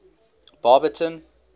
barberton